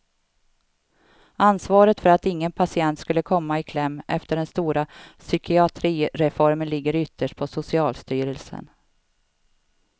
Ansvaret för att ingen patient skulle komma i kläm efter den stora psykiatrireformen ligger ytterst på socialstyrelsen.